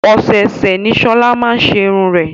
Ọ̀sẹ̀ọ̀sè ni Shola máa n ṣe iru ẹ.